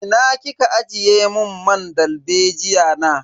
Ina kika ajiye mun man dalbejiya na?